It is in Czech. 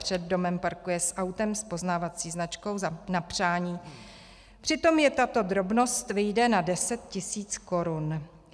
Před domem parkuje s autem s poznávací značkou na přání, přitom je tato drobnost vyjde na 10 tisíc korun.